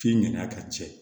F'i ŋan'a ka cɛ